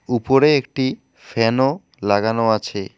উপরে একটি ফ্যান -ও লাগানো আছে।